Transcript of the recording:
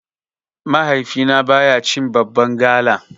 Mahaifina baya cin babban gala.